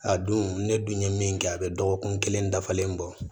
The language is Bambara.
A don ne dun ye min kɛ a bɛ dɔgɔkun kelen dafalen bɔ